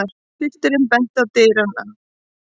Pilturinn benti til dyranna.